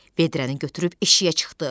Vedrəni götürüb eşiyə çıxdı.